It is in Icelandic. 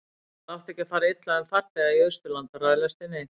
það átti ekki að fara illa um farþega í austurlandahraðlestinni